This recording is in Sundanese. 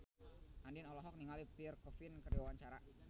Andien olohok ningali Pierre Coffin keur diwawancara